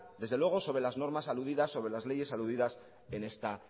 desde luego sobre las normas aludidas sobre las leyes aludidas en esta